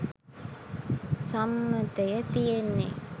සම්මතය තියෙන්නේ.